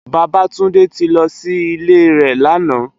Babatunde ti lò si ilé rè làná